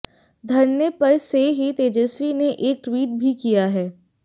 धरने पर से ही तेजस्वी ने एक ट्वीट भी किया है